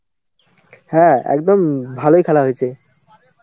হ্যাঁ একদম ভালোই খেলা হয়েছে.